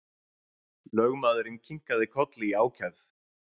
Lögmaðurinn kinkaði kolli í ákefð.